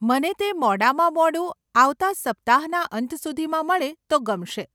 મને તે મોડામાં મોડું આવતાં સપ્તાહના અંત સુધીમાં મળે તો ગમશે.